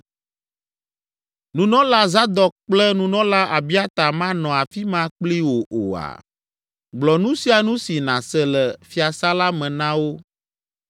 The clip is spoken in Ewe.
Nunɔla Zadok kple nunɔla Abiata manɔ afi ma kpli wò oa? Gblɔ nu sia nu si nàse le fiasã la me na wo.